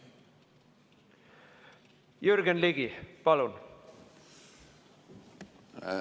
Jürgen Ligi, palun!